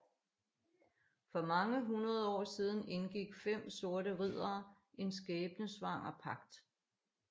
For mange hundrede år siden indgik fem sorte riddere en skæbnesvanger pagt